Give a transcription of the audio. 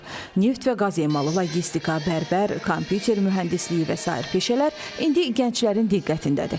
Neft və qaz emalı, logistika, bərbər, kompüter mühəndisliyi və sair peşələr indi gənclərin diqqətindədir.